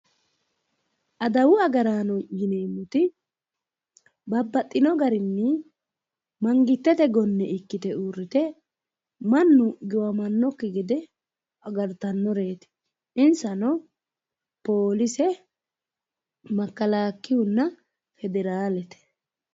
Adawu Agaraano yineemmoti babbaxxino garinni mangitete gonne ikkite uurrite mannu giwamannokki gede agartannoreeti insano poolise, makkalakiyunna federaalete.